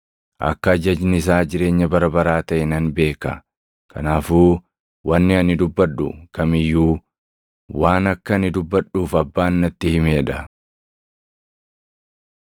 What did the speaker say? Akka ajajni isaa jireenya bara baraa taʼe nan beeka. Kanaafuu wanni ani dubbadhu kam iyyuu waan akka ani dubbadhuuf Abbaan natti himee dha.”